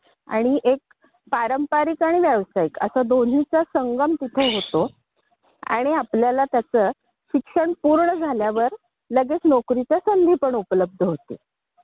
तो या BCom professional मध्ये शिक्षणाचा भाग असत. त्यामुळे होतं कसं की तुम्हाला शिक्षण पूर्ण झाल्यानंतर नोकरीचे जास्त संधी उपलब्ध होतात.